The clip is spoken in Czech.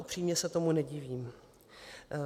Upřímně se tomu nedivím.